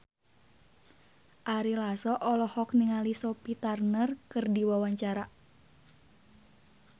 Ari Lasso olohok ningali Sophie Turner keur diwawancara